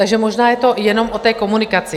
Takže možná je to jenom o té komunikaci.